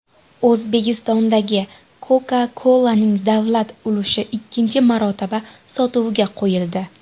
O‘zbekistondagi Coca-Cola’ning davlat ulushi ikkinchi marotaba sotuvga qo‘yildi.